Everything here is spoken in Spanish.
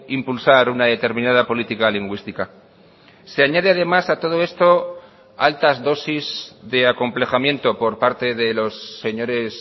impulsar una determinada política lingüística se añade además a todo esto altas dosis de acomplejamiento por parte de los señores